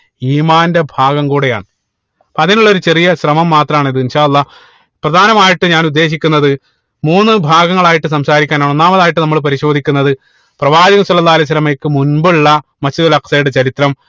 ഈമാന്റെ ഭാഗം കൂടെയാണ് അതിനുള്ള ഒരു ചെറിയ ശ്രമം മാത്രം ആണ് ഇത് അല്ലാഹ് പ്രധാനമായിട്ടും ഞാൻ ഉദ്ദേശിക്കുന്നത് മൂന്ന് ഭാഗങ്ങളായിട്ട് സംസാരിക്കാൻ ആണ് ഒന്നാമതായിട്ട് നമ്മൾ പരിശോധിക്കുന്നത് പ്രവാചക സ്വല്ലള്ളാഹി അലൈഹി വസ്സലമയ്‌ക്ക് മുൻപ് ഉള്ള Masjid ഉൽ അക്സയുടെ ചരിത്രം